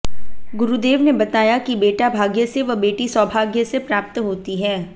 गुरुदेव ने बताया कि बेटा भाग्य से व बेटी सौभाग्य से प्राप्त होती है